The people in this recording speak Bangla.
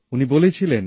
উনি বলেছিলেন